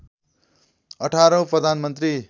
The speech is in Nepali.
१८ औँ प्रधानमन्त्री